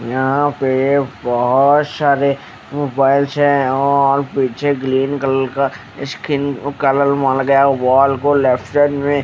यहा पे बोहत शारे मोबाइल्स है और पछे ग्लीन कलर का स्किन कलर वहा लगाया वॉल को लेफ्ट साइड में।